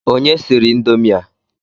Onye siri indomi a?